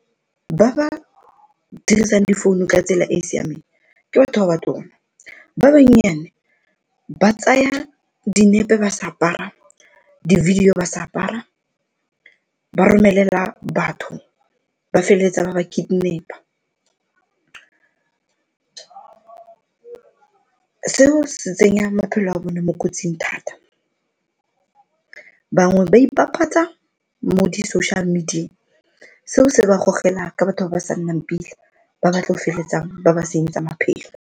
Ba ba dirisang difounu ka tsela e e siameng ke batho ba batona, ba bannyane ba tsaya dinepe ba sa apara, di-video ba sa apara ba romelela batho ba feleletsa ba ba kidnap seo se tsenya maphelo a bone mo kotsing thata. Bangwe ba ipapatsa mo di-social media, seo se ba gogela ka batho ba ba sa nnang pila ba batlo feletsang ba ba senyetsa maphelo.